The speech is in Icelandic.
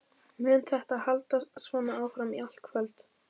Mun þetta halda svona áfram í allt kvöld?